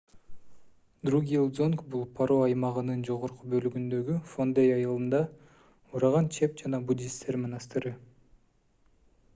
другьел-дзонг бул паро аймагынын жогорку бөлүгүндөгү фондей айылында ураган чеп жана буддисттер монастыры